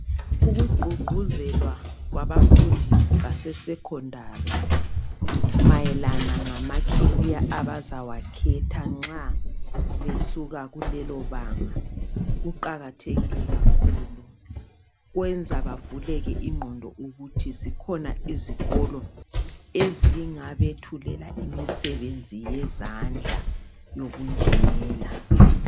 Ukugqugquzelwa kwabafundi base secondary, mayelana lamacareer abazawakhetha, nxa besuka kulelobanga. Kuqakathekile kakhulu! Kwenza bavuleke ingqondo bazi ukuthi zikhona izikolo ezingabethulela imisebenzi yezandla, Kanye lobunjinela.